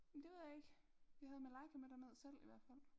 Det ved jeg ikke vi havde Malaika med derned selv i hvert fald